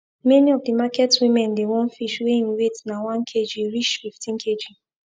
many of the market women dey want fish wey im weight na one kg reach fifteen kg